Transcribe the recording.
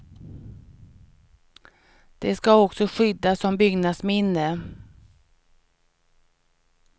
Det ska också skyddas som byggnadsminne.